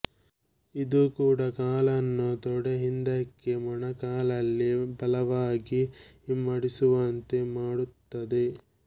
ಇದು ಕೂಡ ಕಾಲನ್ನು ತೊಡೆ ಹಿಂದಕ್ಕೆ ಮೊಣಕಾಲಲ್ಲಿ ಬಲವಾಗಿ ಹಿಮ್ಮಡಿಸುವಂತೆ ಮಾಡುತ್ತದೆ